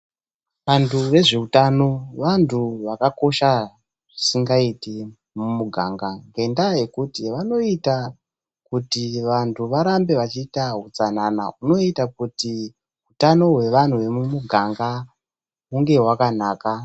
Vanhu vezveutano vantu vakakosha zvisingaiti mumuganga ngendaa yekuti vanoita kuti vanthu varambe vachiita utsanana hunoita kuti utano hwevantu vemumuganga hunge hwakanaka.